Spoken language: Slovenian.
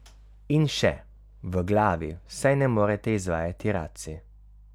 In še: 'V glavi vsaj ne morete izvajati racij.